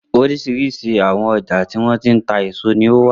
Oríṣiríṣi àwọn ọjà tí wọ́n ti ń ta èso ni ó wà.